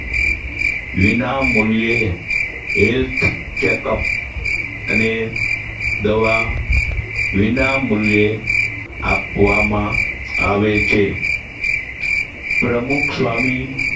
વિનામૂલ્યે health chech-up અને દવા વિનામૂલ્યે આપવામાં આવે છે પ્રમુખસ્વામી